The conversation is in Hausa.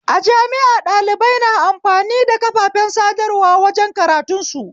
A jami'a ɗalibai na amfani da kafafen sadarwa wajen karantun su